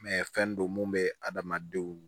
fɛn don mun bɛ adamadenw